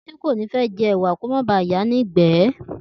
Títí kò ní fé̩ je̩ èwà kí ó má ba à yàá ní ìgbé̩